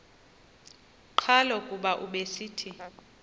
qhalo kuba ubesithi